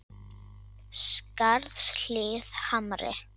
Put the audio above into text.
Skarðshlíð Hamri